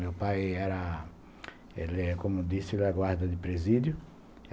Meu pai era, como disse, guarda de presídio.